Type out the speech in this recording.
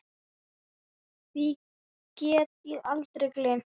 Því get ég aldrei gleymt.